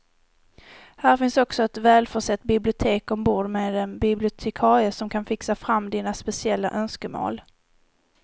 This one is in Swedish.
Här finns också ett välförsett bibliotek ombord med en bibliotekarie som kan fixa fram dina speciella önskemål.